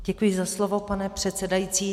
Děkuji za slovo, pane předsedající.